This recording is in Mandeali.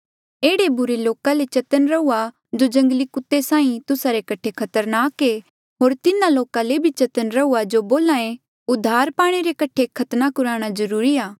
एह्ड़े बुरे लोका ले चतन्न रहुआ जो जंगली कुत्ते साहीं तुस्सा रे कठे खतरनाक ऐें होर तिन्हा लोका ले भी चतन्न रहुआ जो बोल्हा ऐ उधार पाणे रे कठे खतना कुराणा जरूरी आ